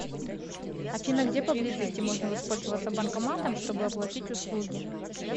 афина где поблизости можно воспользоваться банкоматом чтобы оплатить услуги